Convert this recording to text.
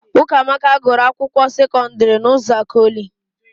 Ụkamaka gụrụ akwụkwọ sekọdịrị n'Ụzakọlị.